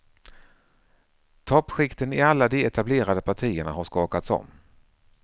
Toppskikten i alla de etablerade partierna har skakats om.